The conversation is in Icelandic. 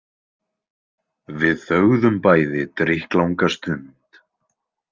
Við þögðum bæði drykklanga stund.